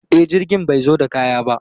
E, jirgin bai zo da kaya ba.